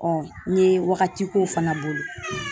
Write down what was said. n ye wagati k'o fana bolo.